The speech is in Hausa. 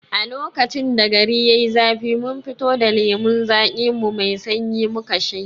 A lokacin da gari yai zafi mun fito da lemon zaƙin mu mai sanyi muka shanye